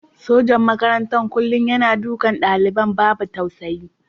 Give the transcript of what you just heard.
Sajan makarantar kullum yana dukan dalibai babu tausayi.